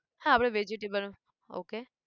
હા આપણે vegetable, okay